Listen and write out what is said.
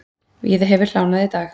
Víða hefur hlánað í dag.